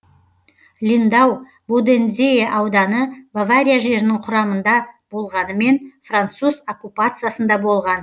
линдау бодензее ауданы бавария жерінің құрамында болғанымен француз оккупациясында болған